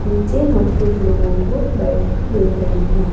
नीचे हम कुछ लोगों को बैठे देख रहे हैं।